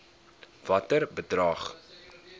watter bedrag